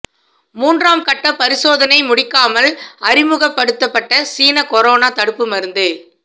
மூன்றாம் கட்ட பரிசோதனை முடிக்காமல் அறிமுகப்படுத்தப்பட்ட சீன கொரோனா தடுப்பு மருந்து